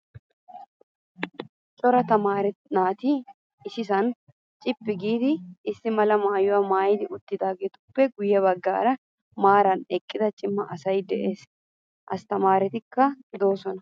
Cora tamaare naati issisan cippi giidi issi mala maayyuwaa maayidi uttidaageetuppe guyye baggan maaraara eqqida cima asayi des. asttamaaretikka doosona.